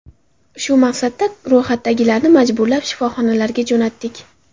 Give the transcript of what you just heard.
Shu maqsadda ro‘yxatdagilarni majburlab shifoxonalarga jo‘natdik.